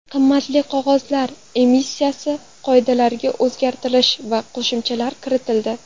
Qimmatli qog‘ozlar emissiyasi qoidalariga o‘zgartirish va qo‘shimchalar kiritildi.